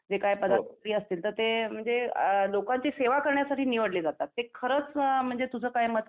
जे काय पदाधिकारी असतील तर ते म्हणजे अ लोकांची सेवा करण्यासाठी निवडले जातात ते खरंच म्हणजे तुझं काय मत